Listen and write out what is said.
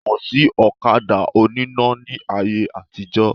Kò sí ọ̀kadà oníná ní ayé àtijọ́